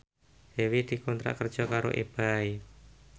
Dewi dikontrak kerja karo Ebay